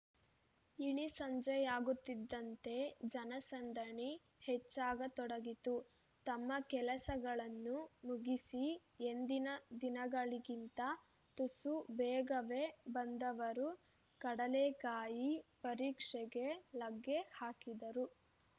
ಇಳಿ ಸಂಜೆಯಾಗುತ್ತಿದ್ದಂತೆ ಜನಸಂದಣಿ ಹೆಚ್ಚಾಗತೊಡಗಿತು ತಮ್ಮ ಕೆಲಸಗಳನ್ನು ಮುಗಿಸಿ ಎಂದಿನ ದಿನಗಳಿಗಿಂತ ತುಸು ಬೇಗವೇ ಬಂದವರು ಕಡಲೆಕಾಯಿ ಪರಿಷೆಗೆ ಲಗ್ಗೆ ಹಾಕಿದರು